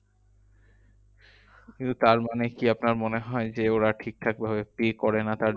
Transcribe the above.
কিন্তু তার মানে কি আপনার মনে হয় যে, ওরা ঠিকঠাক ভাবে pay করে না তার